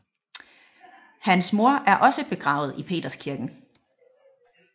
Hans mor er også begravet i Peterskirken